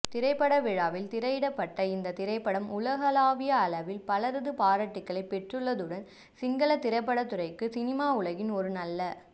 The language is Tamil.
திரைப்படவிழாவில் திரையிடப்பட்ட இந்தத் திரைப்படம் உலகலாவிய அளவில் பலரது பாராட்டுக்களைப் பெற்றதுடன் சிங்களத் திரைப்படத்துறைக்கு சினிமா உலகில் ஒரு நல்ல